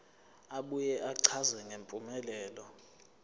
abuye achaze ngempumelelo